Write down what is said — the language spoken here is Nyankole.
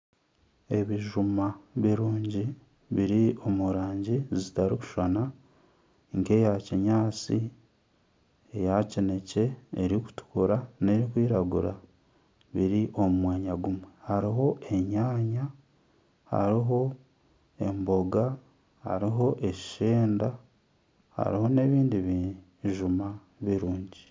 Ebijuma birungi biri omurangi zitarikushushana nkeya kinyatsi eya kinekye erikutukura nerikwiragura biri omu mwanya gumwe hariho enyanya hariho emboga hariho eshenda hariho nana ebindi bijuma birungi.